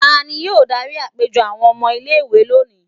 ta ni yóò dari apejọ awọn ọmọ ile-iwe loni?